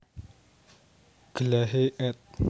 Glahe ed